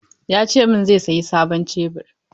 Ya ce min zai saya sabon Shebur.